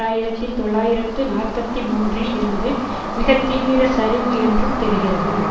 ஆயிரத்தி தொள்ளாயிரத்து நாற்பத்தி மூன்றில் இருந்து மிக தீவிர சரிவு என்றும் தெரிகிறது